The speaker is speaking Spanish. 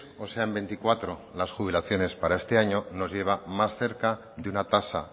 o sean veinticuatro las jubilaciones para este año nos lleva más cerca de una tasa